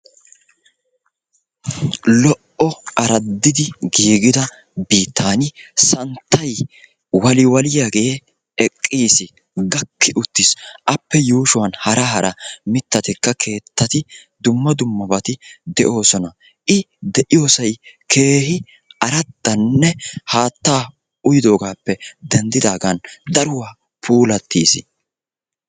Lo'o araddidi giigida biittan santtay waliwaliyaagee eqqiis. Gakki uttiis. Appe yuushuwan hara hara miittatikka keettati dumma dummabati de'oosona. I de'iyosay keehi araddanne haattaa uyidogaappe denddidaagan daruwa puulattiis.